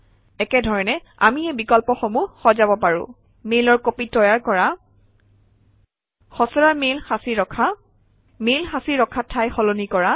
একে ধৰণে আমি এই বিকল্পসমূহ সজাব পাৰোঁ মেইলৰ কপি তৈয়াৰ কৰা খচৰা মেইল সাঁচি ৰখা মেইল সাঁচি ৰখা ঠাই সলনি কৰা